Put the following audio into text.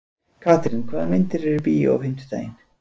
Katrín, hvaða myndir eru í bíó á fimmtudaginn?